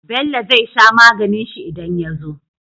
Bello zai sha maganin shi idan ya zo